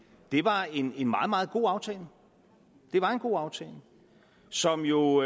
var en meget meget god aftale det var en god aftale som jo